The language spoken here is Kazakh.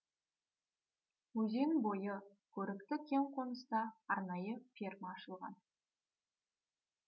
өзен бойы көрікті кең қоныста арнайы ферма ашылған